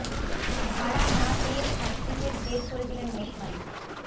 ভাড়া না পেয়ে ছাত্রীদের বের করে দিলেন মেস মালিক